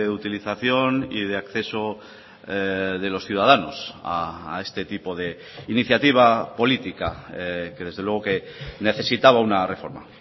utilización y de acceso de los ciudadanos a este tipo de iniciativa política que desde luego que necesitaba una reforma